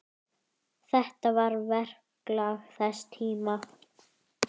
Þetta var verklag þess tíma.